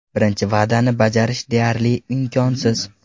Birinchi va’dani bajarish deyarli imkonsiz.